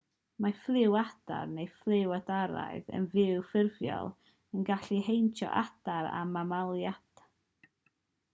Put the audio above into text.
mae ffliw adar neu ffliw adaraidd yn fwy ffurfiol yn gallu heintio adar a mamaliaid